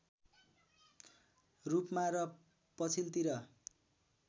रूपमा र पछिल्तिर